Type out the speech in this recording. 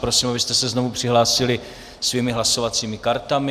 Prosím, abyste se znovu přihlásili svými hlasovacími kartami.